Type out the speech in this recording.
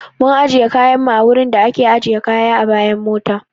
Mun ajiye kayan mu a wurin da a ke ajiye kaya a bayan mota